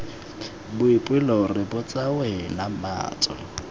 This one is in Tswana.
boipelo re botsa wena matso